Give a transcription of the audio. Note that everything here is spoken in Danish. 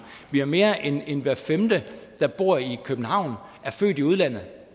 mere mere end hver femte der bor i københavn er født i udlandet